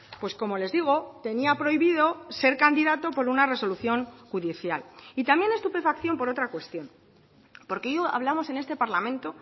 pues como les digo tenía prohibido ser candidato por una resolución judicial y también estupefacción por otra cuestión porque yo hablamos en este parlamento